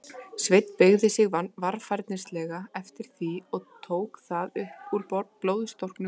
Sveinn beygði sig varfærnislega eftir því, og tók það upp úr blóðstorknu grasinu.